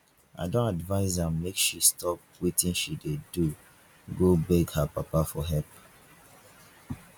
i don advice am make she stop wetin she dey do go beg her papa for help